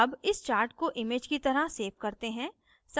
अब इस chart को image की तरह सेव करते हैं